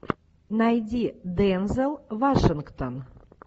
найди дензел вашингтон